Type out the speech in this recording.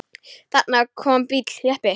Þarna kom bíll, jeppi.